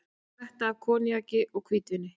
Skvetta af koníaki og hvítvíni